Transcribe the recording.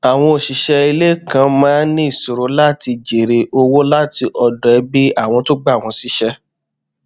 àwọn òṣìṣẹ ilé kan maá n ní ìṣoro láti jèrè ọwọ láti ọdọ ẹbí àwọn tó gbà wọn síṣẹ